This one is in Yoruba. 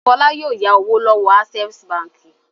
Fọlá yóò ya owó lọ́wọ́ Access Báńkì.